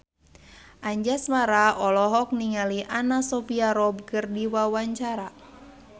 Anjasmara olohok ningali Anna Sophia Robb keur diwawancara